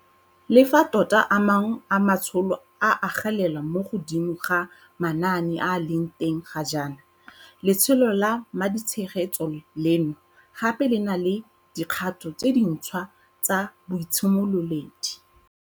Le fa tota a mangwe a matsholo a agelela mo godimo ga manaane a a leng teng ga jaana, letsholo la maditshegetso leno gape le na le dikgato tse dintšhwa tsa boitshimololedi.